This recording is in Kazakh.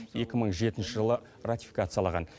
нші жылы ратификациялаған